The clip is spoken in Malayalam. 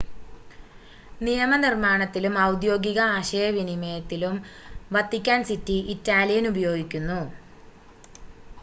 നിയമനിർമ്മാണത്തിലും ഔദ്യോഗിക ആശയവിനിമയത്തിലും വത്തിക്കാൻ സിറ്റി ഇറ്റാലിയൻ ഉപയോഗിക്കുന്നു